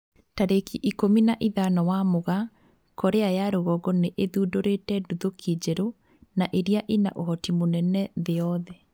Tarĩki ikũmi na ithano wa Mugaa, Korea ya rũgongo nĩ ĩthundũrite nduthũki njerũ na ĩria ĩna ũhoti mũnene mũno thĩ yothe